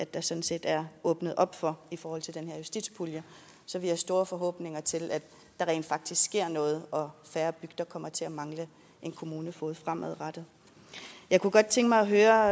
der sådan set er åbnet op for i forhold til den her justitspulje så vi har store forhåbninger til at der rent faktisk sker noget og færre bygder kommer til at mangle en kommunefoged fremadrettet jeg kunne godt tænke mig at høre